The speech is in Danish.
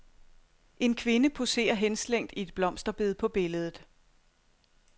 En kvinde poserer henslængt i et blomsterbed på billedet.